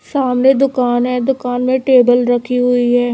सामने दुकान है दुकान में टेबल रखी हुई है।